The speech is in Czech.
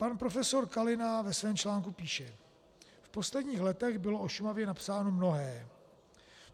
Pan profesor Kalina ve svém článku píše: V posledních letech bylo o Šumavě napsáno mnohé.